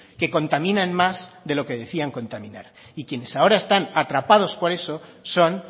que contaminan más de lo que decían contaminar y quienes ahora están atrapados por eso son